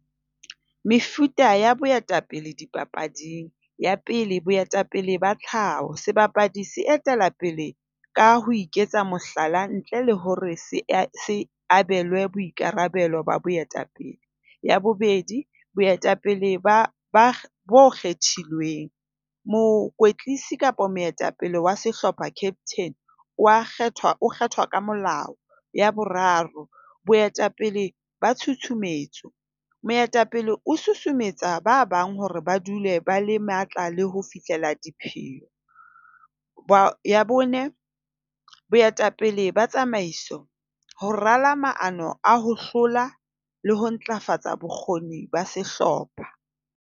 Mefuta ya boetapele dipapading. Ya pele, boetapele ba tlhaho. Sebapadi se etella pele ka ho iketsa mohlala ntle le hore se abelwe boikarabelo ba boetapele. Ya bobedi, boetapele bo kgethilweng. Mokwetlisi kapa moetapele wa sehlopha captain, o a kgethwa, o kgethwa ka molao. Ya boraro, boetapele ba tshutshumetso. Moetapele o susumetsa ba bang hore ba dule ba le matla le ho fihlela dipheo. Ya bone, boetapele ba tsamaiso ho rala maano a ho hlola le ho ntlafatsa bokgoni ba sehlopha.